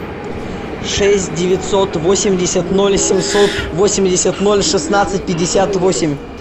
шесть девятьсот восемьдесят ноль семьсот восемьдесят ноль шестнадцать пятьдесят восемь